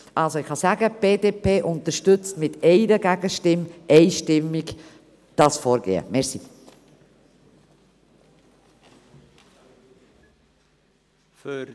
Ich kann sagen, dass die BDP mit einer Gegenstimme dieses Vorgehen einstimmig unterstützt.